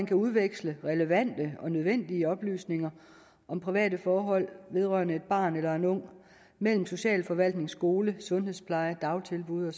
kan udveksles relevante og nødvendige oplysninger om private forhold vedrørende et barn eller en ung mellem socialforvaltning skole sundhedspleje dagtilbud